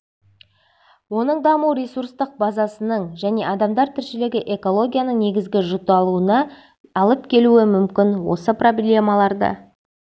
оның даму ресурстық базасының және адамдар тіршілігі экологиялық негізінің жұталуына алып келуі мүмкін осы проблемаларды